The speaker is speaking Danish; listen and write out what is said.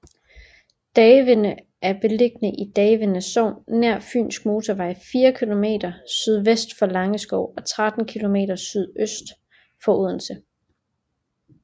Davinde er beliggende i Davinde Sogn nær Fynske Motorvej fire kilometer sydvest for Langeskov og 13 kilometer sydøst for Odense